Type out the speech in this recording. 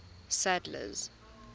sadler's